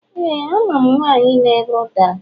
Éè, amam nwanyi na-ere ụdara.